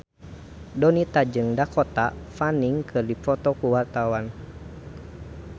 Donita jeung Dakota Fanning keur dipoto ku wartawan